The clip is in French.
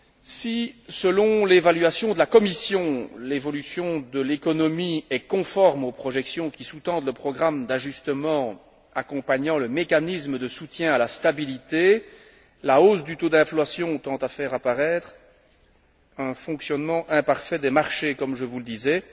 Si, selon l'évaluation de la Commission, l'évolution de l'économie est conforme aux projections qui sous tendent le programme d'ajustement accompagnant le mécanisme de soutien à la stabilité, la hausse du taux d'inflation tend à faire apparaître un fonctionnement imparfait des marchés, comme je vous le disais.